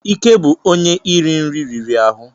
Ike bụ onye iri nri riri ahụ.